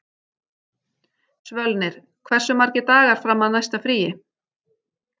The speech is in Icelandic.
Svölnir, hversu margir dagar fram að næsta fríi?